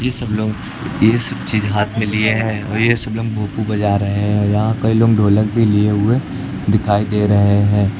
ये सब लोग ये चीज हाथ में लिए हैं और ये सब लोग भोपू बज रहे हैं और यहां कई लोग ढोलक भी लिए हुए दिखाई दे रहे हैं।